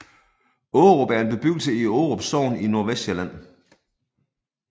Ågerup er en bebyggelse i Ågerup Sogn i Nordvestsjælland